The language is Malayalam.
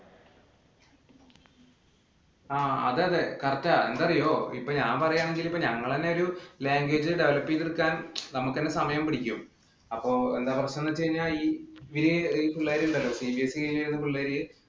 ആ അതെ അതെ. correct ആ. എന്താന്നറിയോ? ഇപ്പോൾ ഞാൻ പറയാണെങ്കിൽ ഇപ്പൊ ഞങ്ങളുടെ തന്നെ ഒരു language develop ചെയ്ത് എടുക്കാൻ നമുക്ക് തന്നെ സമയം പിടിക്കും. അപ്പൊ എന്താ പ്രശ്നം എന്ന് വച്ച് കഴിഞ്ഞാ ഈ പിള്ളേര് ഉണ്ടല്ലോ CBSE കഴിഞ്ഞു വരുന്ന പിള്ളേര്